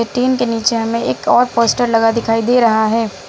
ये टिन के नीचे हमे एक और पोस्टर लगा दिखाई दे रहा है।